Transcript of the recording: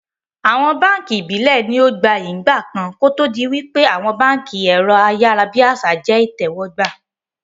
Àwọn báànkì Ìbílẹ̀ ní ó gbayyi ń ìgbàkan kòtò di wípé àwọn báànkì ẹ̀rọ ayárábiàsà jẹ́ ìtẹ́wọ́gbà